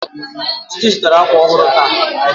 Titi zụtara akwa ọhụrụ taa